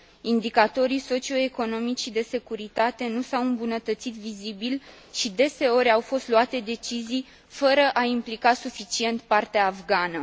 Indicatorii socioeconomici și de securitate nu s au îmbunătățit vizibil și deseori au fost luate decizii fără a implica suficient partea afgană.